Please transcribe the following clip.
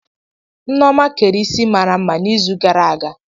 Nneoma kere Ịsị mara mma n'izu gara aga.